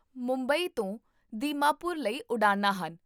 ਮੁੰਬਈ ਤੋਂ ਦੀਮਾਪੁਰ ਲਈ ਉਡਾਣਾਂ ਹਨ